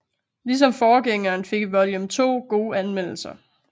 Ligesom forgængeren fik Volume 2 gode anmeldelser